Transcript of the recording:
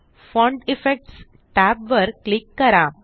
font effects tab वर click करा